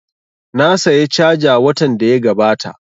Na saya caja watan da ya gabata